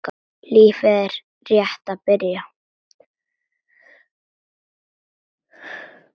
Lífið er rétt að byrja.